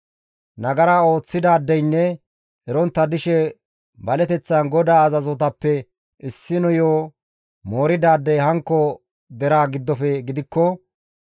«Nagara ooththidaadeynne erontta dishe baleteththan GODAA azazotappe issiniyo mooridaadey hankko deraa giddofe gidikko,